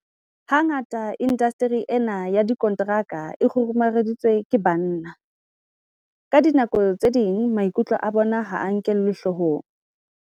Hangata indasteri ena ya dikonteraka e kgurumeditswe ke banna. Ka dinako tse ding maikutlo a bona ha a nkelwe hloohong.